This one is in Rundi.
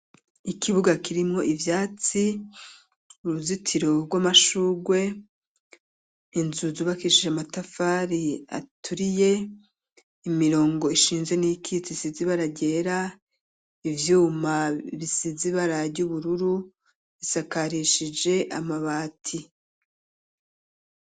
Ikibuga kirimwo ivyatsi uruzitiro rw'amashurwe inzu zubakishije amatafari aturiye imirongo ishinze n'iyikitse isize ibara ryera ivyuma bisizi ibara ry'ubururu bisakarishije amabati.